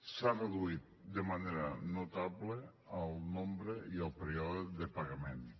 s’ha reduït de manera notable el nombre i el període de pagaments